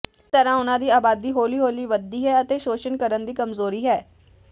ਇਸ ਤਰ੍ਹਾਂ ਉਨ੍ਹਾਂ ਦੀ ਆਬਾਦੀ ਹੌਲੀ ਹੌਲੀ ਵਧਦੀ ਹੈ ਅਤੇ ਸ਼ੋਸ਼ਣ ਕਰਨ ਦੀ ਕਮਜ਼ੋਰੀ ਹੈ